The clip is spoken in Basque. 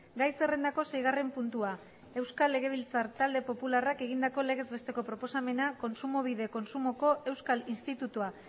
gai zerrendako seigarren puntua euskal legebilzar talde popularrak egindako legez besteko proposamena kontsumobide kontsumoko euskal institutua